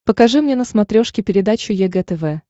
покажи мне на смотрешке передачу егэ тв